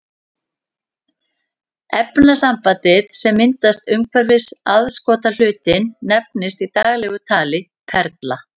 Efnasambandið sem myndast umhverfis aðskotahlutinn nefnist í daglegu tali perla.